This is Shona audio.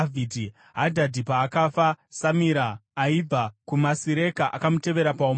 Hadhadhi paakafa Samira aibva kuMasireka akamutevera paumambo.